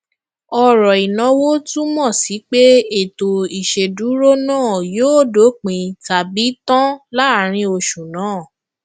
ọrọ inawo túmọ sí pé ètò ìṣèdúró náà yóò dópin tabi tan láàrin oṣù náà